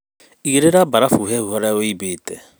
Igĩrĩra barafu hehu harĩa wĩimbĩte.